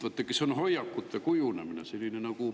Vaadake, see on hoiakute kujundamine.